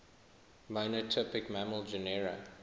monotypic mammal genera